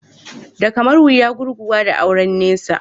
Da kamar wuya gurguwa da auren nesa.